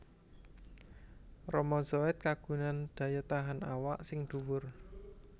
Rama Zoet kagungan daya tahan awak sing dhuwur